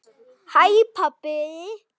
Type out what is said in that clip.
HÆ PABBI!